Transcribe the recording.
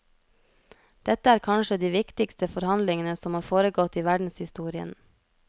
Dette er kanskje de viktigste forhandlingene som har foregått i verdenshistorien.